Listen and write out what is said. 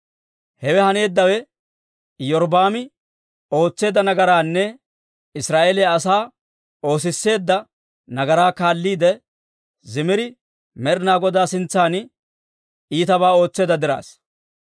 Hewe haneeddawe Iyorbbaami ootseedda nagaraanne Israa'eeliyaa asaa oosisseedda nagaraa kaalliide, Zimiri Med'inaa Godaa sintsan iitabaa ootseedda dirassa.